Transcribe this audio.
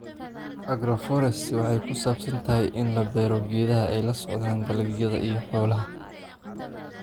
“Agroforestry waxa ay ku saabsan tahay in la beero geedaha ay la socdaan dalagyada, iyo xoolaha.